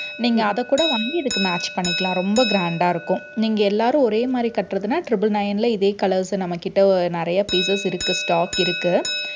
நீங்க அதைக்கூட வாங்கி இதுக்கு match பண்ணிக்கலாம். ரொம்ப grand ஆ இருக்கும். நீங்க எல்லாரும் ஒரே மாதிரி கட்டறதுன்னா triple nine ல இதே colors நம்மகிட்ட நிறைய pieces இருக்கு stock இருக்கு